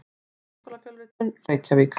Háskólafjölritun: Reykjavík.